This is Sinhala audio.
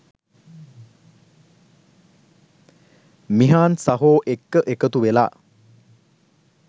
මිහාන් සහෝ එක්ක එකතු වෙලා